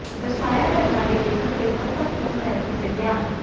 ਦਰਸਾਇਆ ਘਟਨਾ ਦੇ ਲੇਖਕ ਦੇ ਮਹੱਤਵਪੂਰਨ ਪਹਿਲੂ ਤੇ ਧਿਆਨ